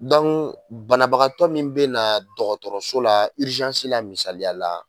banabagatɔ min bɛ na dɔgɔtɔrɔso la la misaliya la